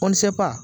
Kɔlɔnsɛ